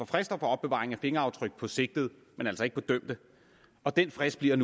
frister for opbevaring af fingeraftryk på sigtede men altså ikke dømte den frist bliver